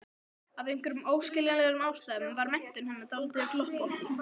Af einhverjum óskiljanlegum ástæðum var menntun hennar dálítið gloppótt.